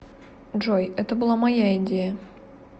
джой это была моя идея